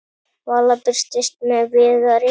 Vala birtist með Viðari.